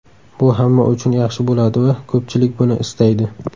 Bu hamma uchun yaxshi bo‘ladi va ko‘pchilik buni istaydi.